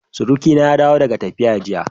Surukina ya dawo daga tafiya jiya.